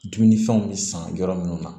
Dumunifɛnw bɛ san yɔrɔ minnu na